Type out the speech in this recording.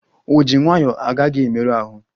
Ojii nwayọ agaghi emeru ahụ